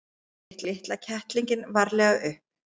Hann tók litla kettlinginn varlega upp.